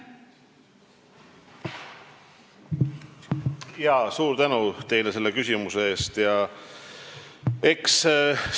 Jaa, suur tänu teile selle küsimuse eest!